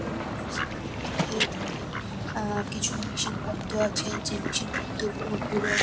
কোন অফিস -এর মধ্যে কিছু মেশিন পত্র আছে যে মেশিন পত্র গুলো পুরো--